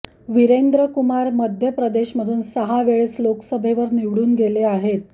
वीरेंद्र कुमार मध्य प्रदेशमधून सहा वेळेस लोकसभेवर निवडून गेले आहेत